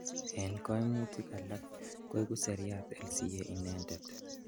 En komutik alak, koiku seriat LCA inendet.